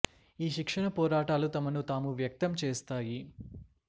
ఈ శిక్షణ పోరాటాలు తమను తాము వ్యక్తం చేస్తాయి